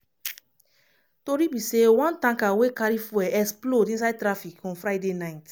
tori be say one tanker wey carry fuel explode inside traffic on friday night.